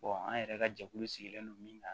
an yɛrɛ ka jɛkulu sigilen don min na